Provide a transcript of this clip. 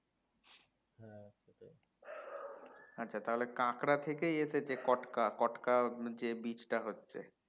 আচ্ছা তাহলে কাঁকড়া থেকেই এসেছে কটকা কটকা যে beach টা হচ্ছে